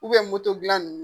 moto dilan